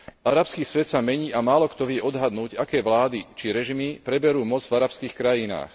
Arabský svet sa mení a málokto vie odhadnúť, aké vlády či režimy preberú moc v arabských krajinách.